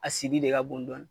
A sidi de ka bon dɔni.